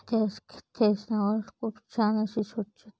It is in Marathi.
त्या त्या स्टेशन वर खूप छान अशी स्वच्छ--